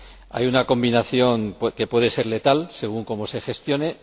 Hay una combinación que puede ser letal, según como se gestione.